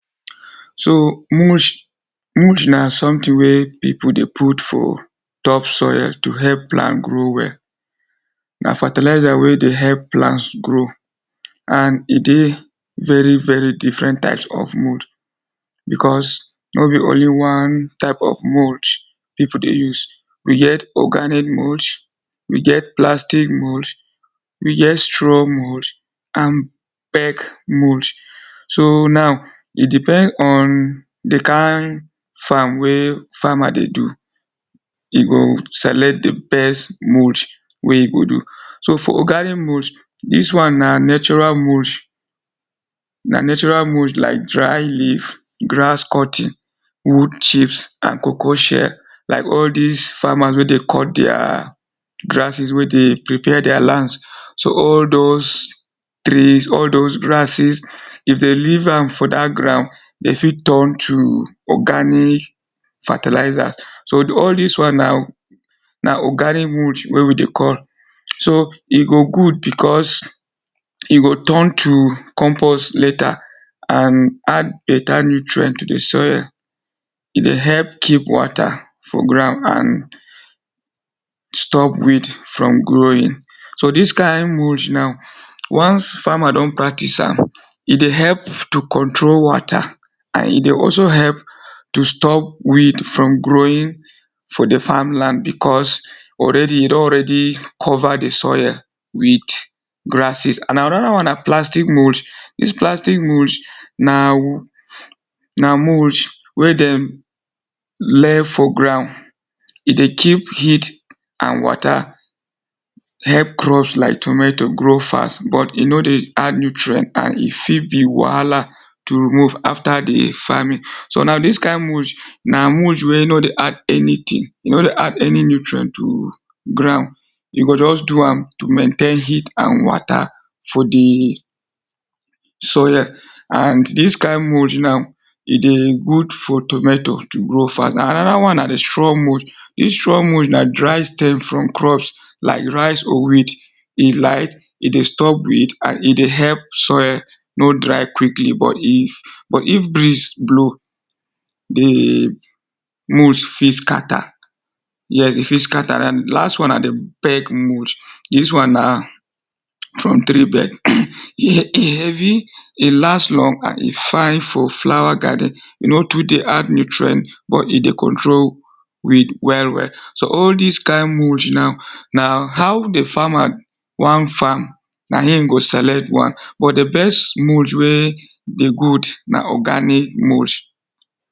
So mooch, mooch na something wey people dey put for top soil to help plant grow well. Na fertilizer wey dey help plants grow and e dey very very different types of mooch because no be only one type of mooch people dey use. We get organic mooch, we get plastic mooch, we get straw mooch and peg mooch. So now, e depend on the kain farm wey farmer dey do. You go select the best mooch wey e go do. So for organic mooch dis one na natural mooch, na natural mooch like dry leaf, grass cutting, wood chips and cocoa shell like all dis farmers wey dey cut their grasses wey dey prepare their land. So all those trees, all those grasses if dey leave am for dat ground dey fit turn to organic fertilizer. So all dis one na na organic mooch wey we dey call. So, e go good because e go turn to compose later and add better nutrient to the soil. E dey help keep water for ground and stop weed from growing. So dis kain mooch now, once farmer don practice am e dey help to control water and e dey also help to stop weed from growing for the farmland because already e don already cover the soil wit grasses and another one na plastic mooch. Dis plastic mooch na na mooch wey dem lay for ground. E dey keep heat and water, help crops like tomato grow fast but e no dey add nutrient and e fit be wahala to remove after the farming so na dis kain mooch na mooch wey no dey add anything. E no dey any nutrient to ground. E go just do am to maintain heat and water for the soil and dis kain mooch now, e dey good for tomato to grow fast Another one na the straw mooch. Dis straw mooch na dry stems from crops like rice or wheat. E light, e dey stop weed, e dey help soil soil no dry quickly but if, but if breeze blow, the mooch fit scatter yes, e fit scatter. The last one na the peg mooch. Dis one na from tree bed. E heavy, e last long and e fine for flower garden. E no too dey add nutrient but e dey control weed well well. So all dis kain mooch now na how the farmer wan farm na him go select one but the best mooch wey dey good na organic mooch.